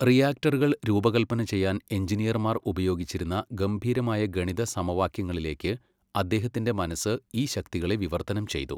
റിയാക്ടറുകൾ രൂപകൽപ്പന ചെയ്യാൻ എഞ്ചിനീയർമാർ ഉപയോഗിച്ചിരുന്ന ഗംഭീരമായ ഗണിത സമവാക്യങ്ങളിലേക്ക് അദ്ദേഹത്തിന്റെ മനസ്സ് ഈ ശക്തികളെ വിവർത്തനം ചെയ്തു.